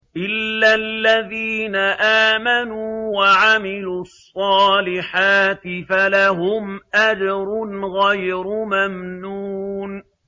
إِلَّا الَّذِينَ آمَنُوا وَعَمِلُوا الصَّالِحَاتِ فَلَهُمْ أَجْرٌ غَيْرُ مَمْنُونٍ